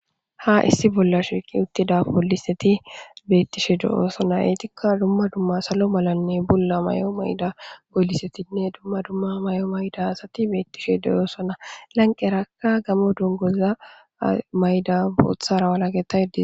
Ha issi bolla shiiqi uttida pooliseti beetishe de'osona. Etikka dumma dmma salo malanne bulla mayo mayida poolisetinne dumma dumma mayo mayida asati beetishe de'osona. Lanqerakka gaammo dunguza mayida booththara walakettida